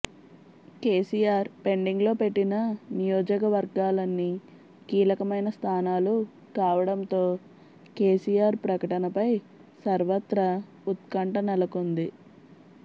KCR pending లో పెట్టిన నియోజకవర్గాలన్నీ కీలకమైన స్థానాలు కావడంతో కేసీఆర్ ప్రకటనపై సర్వత్రా ఉత్కంఠ నెలకొంది